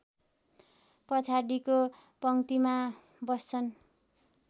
पछाडिको पङ्क्तिमा बस्छन्